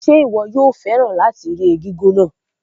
Ṣé o máa fẹ́ràn láti ẹ̀kú egúngún náà?